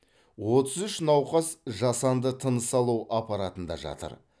отыз үш науқас жасанды тыныс алу аппаратында жатыр